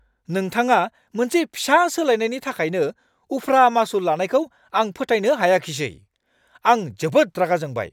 नोंथाङा मोनसे फिसा सोलायनायनि थाखायनो उफ्रा मासुल लानायखौ आं फोथायनो हायाखिसै। आं जोबोद रागा जोंबाय!